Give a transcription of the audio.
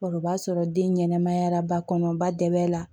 O b'a sɔrɔ den ɲɛnɛmaya la ba kɔnɔba dɛ la